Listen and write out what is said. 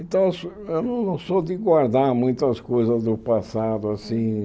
Então, eu não sou de guardar muitas coisas do passado, assim.